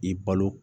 I balo